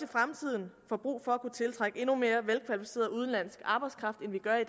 fremtiden får brug for at kunne tiltrække endnu mere velkvalificeret udenlandsk arbejdskraft end vi gør i